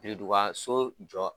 nidugu so jɔ